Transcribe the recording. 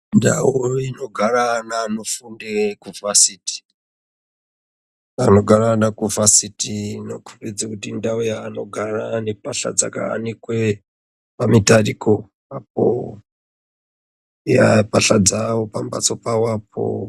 Ndau inogara vanofunda kuvhasiti vanogara vari kuvhasiti inokomnbidza kuti indau inogara nembahla vanogara ikoko eya mbahla dzawo pambatso pavopo.